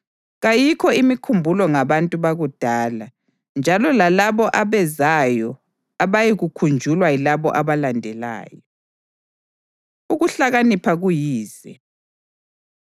Kayikho imikhumbulo ngabantu bakudala, njalo lalabo abezayo abayikukhunjulwa yilabo abalandelayo. Ukuhlakanipha Kuyize